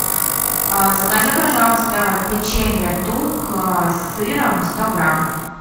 закажи пожалуйста печенье тук с сыром сто грамм